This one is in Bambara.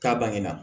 K'a bange na